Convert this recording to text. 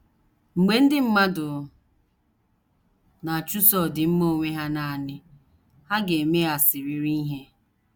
Mgbe ndị mmadụ na - achụso ọdịmma onwe ha nanị, ha ga - emeghasịrịrị ihe.